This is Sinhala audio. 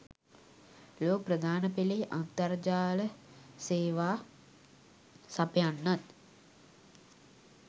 ලොව ප්‍රධානපෙලේ අන්තර්ජාල සේවා සපයන්නන්